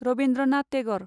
Rabindranath Tagore